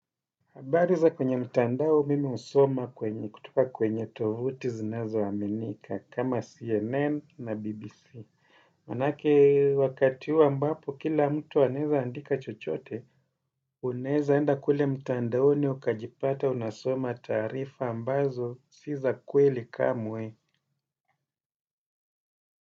Habari za kwenye mtandao mimi husoma kwenye kutoka kwenye tovuti zinazoaminika kama CNN na BBC. Manake wakati huo ambapo kila mtu anaweza andika chochote, unaweza enda kule mtandaoni ukajipata unasoma taarifa ambazo si za kweli kamwe.